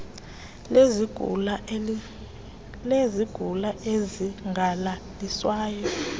lezigulana ezingalaliswayo opd